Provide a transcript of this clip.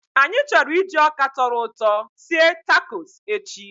Anyị chọrọ iji ọka tọrọ ụtọ sie takos echi